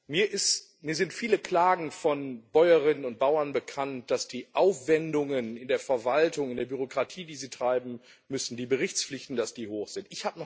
Mir sind viele Klagen von Bäuerinnen und Bauern darüber bekannt, dass die Aufwendungen in der Verwaltung, in der Bürokratie, die sie treiben müssen, dass die Berichtspflichten hoch sind.